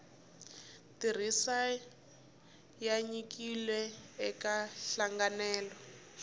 tirhisiwa ya nyikiwile eka nhlanganelo